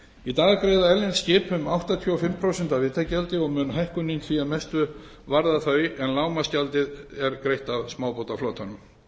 í dag greiða erlend skip um áttatíu og fimm prósent af vitagjaldi og mun hækkunin því að mestu varða þau en lágmarksgjaldið er greitt af smábátaflotanum